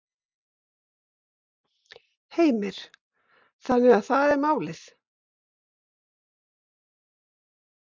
Heimir: Þannig að það er málið?